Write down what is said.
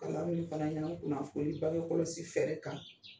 O la, an bɛ min fɔla a ɲɛnɛn, nko kunnanfoli bangekɔlɔsi fɛɛrɛ kan